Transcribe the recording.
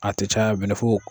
A te caya bɛnɛfu